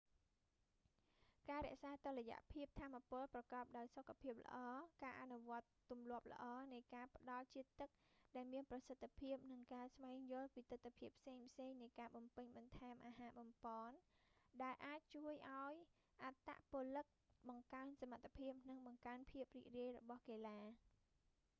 ការរក្សាតុល្យភាពថាមពលប្រកបដោយសុខភាពល្អ ការអនុវត្តទំលាប់ល្អនៃការផ្តល់ជាតិទឹកដែលមានប្រសិទ្ធភាព និងការស្វែងយល់ពីទិដ្ឋភាពផ្សេងៗនៃការបំពេញបន្ថែមអាហារប៉ប៉ន ដែលអាចជួយឱ្យអត្តពលិកបង្កើនសមត្ថភាព និងបង្កើនភាពរីករាយរបស់កីឡា